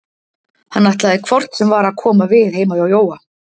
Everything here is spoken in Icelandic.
Hann ætlaði hvort sem var að koma við heima hjá Jóa.